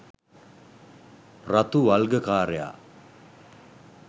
රතු වල්ගකාරයා